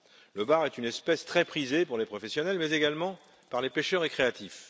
Le bar est une espèce très prisée par les professionnels, mais également par les pêcheurs récréatifs.